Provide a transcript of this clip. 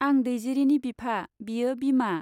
आं दैजिरिनि बिफा, बियो बिमा।